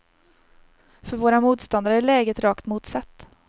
För våra motståndare är läget rakt motsatt.